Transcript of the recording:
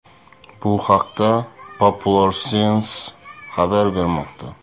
Bu haqda Popular Science xabar bermoqda .